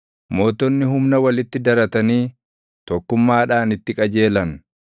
Mootonni humna walitti daratanii tokkummaadhaan itti qajeelan.